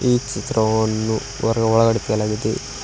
ಈ ಚಿತ್ರವನ್ನು ಹೊರ ಒಳಗಡೆ ತೆಗೆಯಲಾಗಿದೆ.